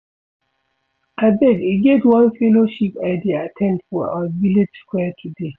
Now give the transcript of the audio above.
Abeg e get one fellowship I dey at ten d for our village square today